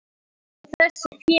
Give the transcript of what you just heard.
Hvað gera svo þessi félög?